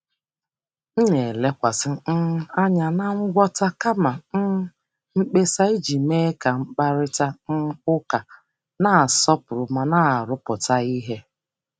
M na-elekwasị anya na ngwọta kama ịtụ mkpesa iji mee ka mkparịta ụka dị nkwanye ùgwù ma na-arụpụta ihe.